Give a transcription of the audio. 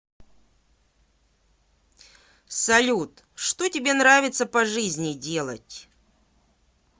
салют что тебе нравится по жизни делать